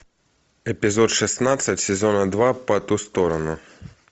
эпизод шестнадцать сезона два по ту сторону